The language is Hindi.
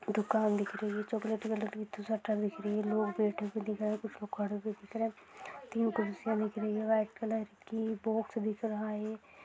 दुकान दिख रही है चॉकलेटी कलर की लोग बैठे हुए दिख रहे कुछ लोग खड़े हुए दिख रहे तीन कुर्सीया दिख रही है व्हाइट कलर की बॉक्स दिख रहा है।